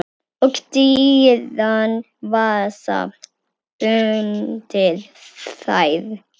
Og dýran vasa undir þær.